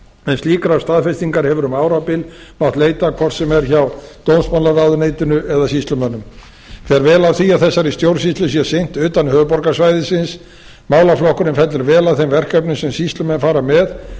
en slíkrar staðfestingar hefur um árabil mátt leita hvort sem er hjá dómsmálaráðuneytinu eða sýslumönnum fer vel á því að þessari stjórnsýslu sé sinnt utan höfuðborgarsvæðisins málaflokkurinn fellur vel að þeim verkefnum sem sýslumenn fara